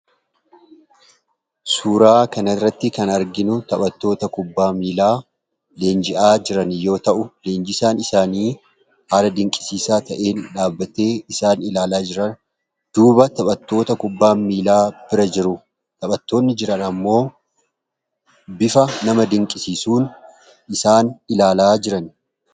Suuraa kana irratti kan arginu taphattoota kubbaa miillaa leenji'aa jiran yammuu ta'uu, leenjisaan isaaniis dhaabbatee kan isaan ilaalaa jiruu dha.